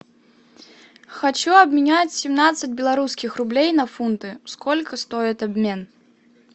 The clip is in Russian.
хочу обменять семнадцать белорусских рублей на фунты сколько стоит обмен